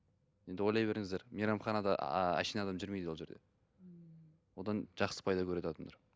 енді ойлай беріңіздер мейрамханада әшейін адам жүрмейді ол жерде одан жақсы пайда көреді адамдар